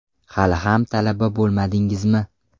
Hali ham talaba bo‘lmadingizmi?